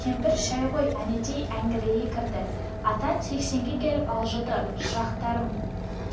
кемпір шай қой әнетей әңгірлей кірді атаң сексенге келіп алжыды шырақтарым